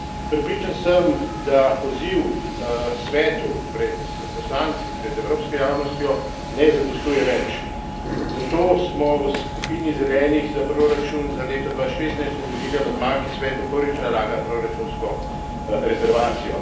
Prepričan sem, da poziv Svetu pred poslanci, pred evropsko javnostjo ne zadostuje več, zato smo v skupini Zelenih za proračun za leto 2016 vložili amandma, ki Svetu prvič nalaga proračunsko rezervacijo.